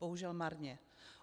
Bohužel marně.